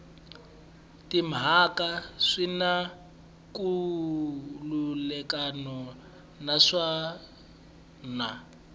timhaka swi na nkhulukelano naswona